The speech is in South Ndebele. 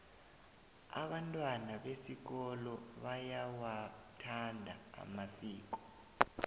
abantwana besikolo bayawathanda amasiko